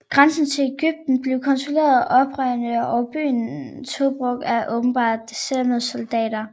Grænsen til Egypten blev kontrolleret af oprørerne og byen Tobruk af åbenbart deserterede soldater